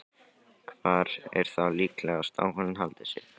Hvar er þá líklegast að hún haldi sig?